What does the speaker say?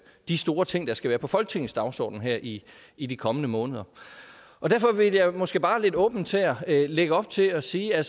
de store ting der skal være på folketingets dagsorden her i i de kommende måneder derfor vil jeg måske bare lidt åbent her lægge op til at sige at